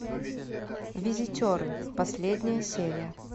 визитеры последняя серия